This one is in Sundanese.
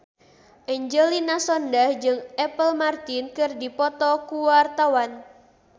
Angelina Sondakh jeung Apple Martin keur dipoto ku wartawan